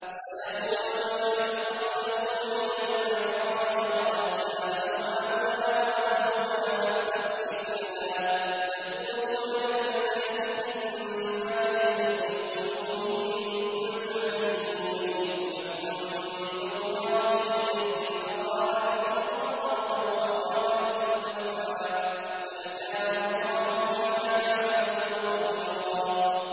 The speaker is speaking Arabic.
سَيَقُولُ لَكَ الْمُخَلَّفُونَ مِنَ الْأَعْرَابِ شَغَلَتْنَا أَمْوَالُنَا وَأَهْلُونَا فَاسْتَغْفِرْ لَنَا ۚ يَقُولُونَ بِأَلْسِنَتِهِم مَّا لَيْسَ فِي قُلُوبِهِمْ ۚ قُلْ فَمَن يَمْلِكُ لَكُم مِّنَ اللَّهِ شَيْئًا إِنْ أَرَادَ بِكُمْ ضَرًّا أَوْ أَرَادَ بِكُمْ نَفْعًا ۚ بَلْ كَانَ اللَّهُ بِمَا تَعْمَلُونَ خَبِيرًا